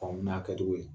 Faamu n'a kɛcogo ye